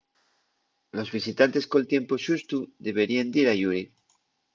los visitantes col tiempu xustu deberíen dir ayuri